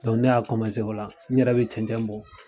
ne y'a o la ne yɛrɛ bɛ cɛncɛn bɔ.